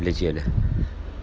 летели